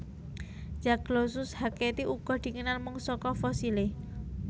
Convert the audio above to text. Zaglossus hacketti uga dikenal mung saka fosilé